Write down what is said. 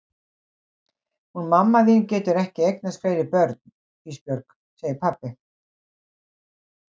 Hún mamma þín getur ekki eignast fleiri börn Ísbjörg, segir pabbi.